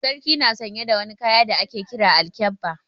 Sarki na sanye da wani kaya da ake Kiran Alkyabba.